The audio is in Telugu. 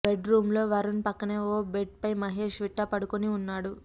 బెడ్ రూమ్లో వరుణ్ పక్కనే ఓ బెడ్పై మహేష్ విట్ట పడుకోని ఉన్నాడు